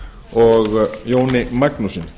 og jóni magnússyni